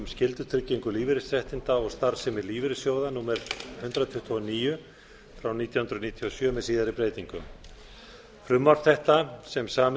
skyldutryggingu lífeyrisréttinda og starfsemi lífeyrissjóða númer hundrað tuttugu og níu nítján hundruð níutíu og sjö með síðari breytingum frumvarp þetta sem samið